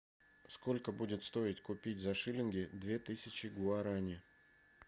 сколько будет стоить купить за шиллинги две тысячи гуарани